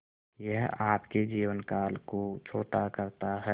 यह आपके जीवन काल को छोटा करता है